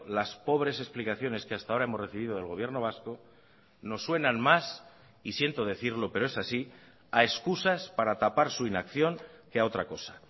las pobres explicaciones que hasta ahora hemos recibido del gobierno vasco nos suenan más y siento decirlo pero es así a excusas para tapar su inacción que a otra cosa